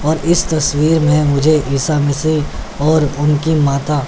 और इस तस्वीर में मुझे ईसा मसीह और उनकी माता--